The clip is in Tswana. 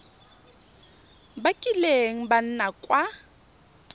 ba kileng ba nna kwa